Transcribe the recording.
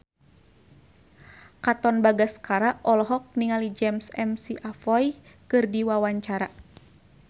Katon Bagaskara olohok ningali James McAvoy keur diwawancara